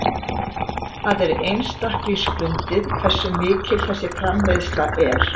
Það er einstaklingsbundið hversu mikil þessi framleiðsla er.